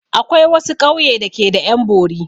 Akwai wasu ƙauye da ke da 'yan bori.